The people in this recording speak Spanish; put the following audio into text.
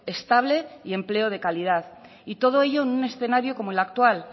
estable y empleo de calidad y todo ello en un escenario como el actual